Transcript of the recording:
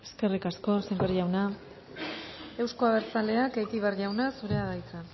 eskerrik asko sémper jauna euzko abertzaleak egibar jauna zurea da hitza